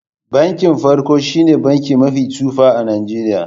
Bankin farko shine banki mafi tsufa a Najeriya.